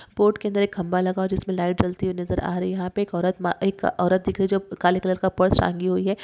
Boat के अन्दर एक खंबा लगा हुआ जिसमे लाइट जलती हुई नजर आ रही है यहा पे एक औरत माँ एक औरत दिख रही है जो काले कलर का पर्स टांगी हुई है।